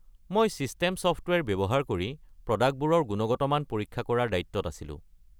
মই system software ব্যৱহাৰ কৰি প্ৰডাক্টবোৰৰ গুণগত মান পৰীক্ষা কৰাৰ দায়িত্বত আছিলোঁ।